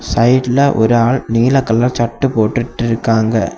சைடுல ஒரு ஆள் நீல கலர்ல சட்டை போட்டுட்டு இருக்காங்க.